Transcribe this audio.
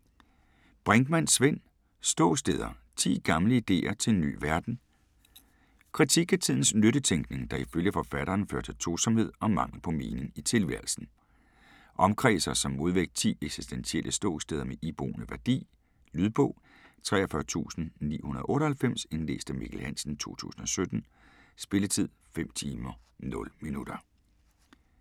Brinkmann, Svend: Ståsteder: 10 gamle ideer til en ny verden Kritik af tidens nyttetænkning, der ifølge forfatteren fører til tomhed og mangel på mening i tilværelsen. Omkredser som modvægt 10 eksistentielle ståsteder med iboende værdi. Lydbog 43998 Indlæst af Mikkel Hansen, 2017. Spilletid: 5 timer, 0 minutter.